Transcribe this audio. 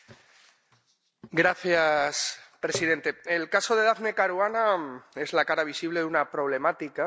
Señor presidente, el caso de Daphne Caruana es la cara visible de una problemática que tiene varias caras.